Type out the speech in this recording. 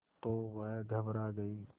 तो वह घबरा गई